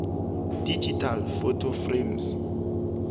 digital photo frames